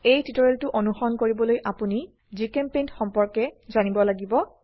এই টিউটোৰিয়েলটো অনুসৰণ কৰিবলৈ আপোনি জিচেম্পেইণ্ট সম্পৰ্কে জানিব লাগিব